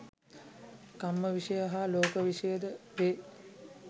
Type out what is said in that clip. කම්ම විෂය හා ලෝක විෂයයද වේ.